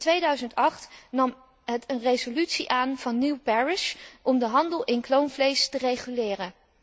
In 2008 nam het een resolutie van Neil Parish aan om de handel in kloonvlees te reguleren.